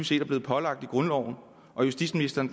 set er blevet pålagt i grundloven og justitsministeren